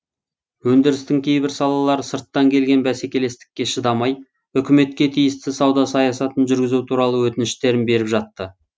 өндірістің кейбір салалары сырттан келген бәсекелестікке шыдамай үкіметке тиісті сауда саясатын жүргізу туралы өтініштерін беріп жатты